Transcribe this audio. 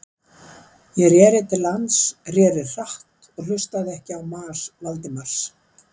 Ég reri til lands, reri hratt og hlustaði ekki á mas Valdimars.